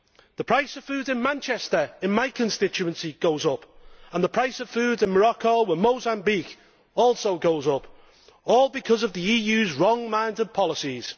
The price of food in Manchester in my constituency goes up and the price of food in Morocco and Mozambique also goes up, all because of the EU's wrong minded policies.